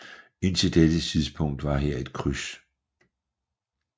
Indtil dette tidspunkt var her et kryds